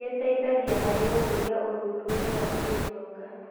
Gĩteithagia harĩ gũkũria ũthundũri wa kĩũtonga.